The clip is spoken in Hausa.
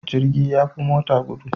Jirgi yafi mota gudu